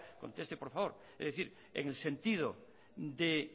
conteste por favor es decir en el sentido de